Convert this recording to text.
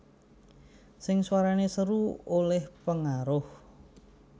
Sing suwarane seru oleh pengaruh